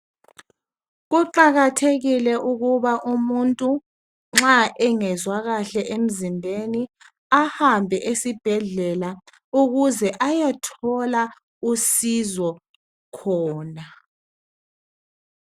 Kuqakathekile ukuba umuntu nxa engezwa kahle emzimbeni, ahambe esibhedlela ukuze ayethola usizo khona.